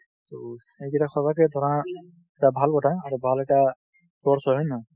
ত, সেইকেতা সচাকা ধৰা এটা ভাল কথা। আৰু ভাল এটা course হয়। হয় নহয়?